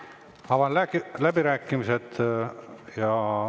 Avan läbirääkimised.